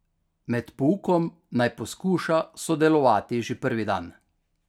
Med poukom naj poskuša sodelovati že prvi dan.